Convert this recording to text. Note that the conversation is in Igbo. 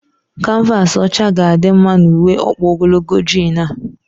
Kanvaasị ọcha ga adị mma na uwe ọkpa ogologo jiin a?